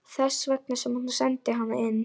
Þess vegna sem hún sendi hana inn.